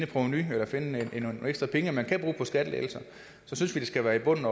på om vi kan finde nogle ekstra penge man kan bruge på skattelettelser synes vi det skal være i bunden